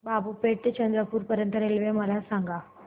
बाबूपेठ ते चंद्रपूर पर्यंत रेल्वे मला सांगा